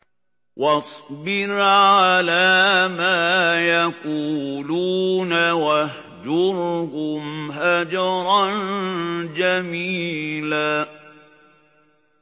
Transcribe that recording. وَاصْبِرْ عَلَىٰ مَا يَقُولُونَ وَاهْجُرْهُمْ هَجْرًا جَمِيلًا